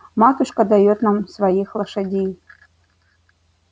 матушка даёт нам своих лошадей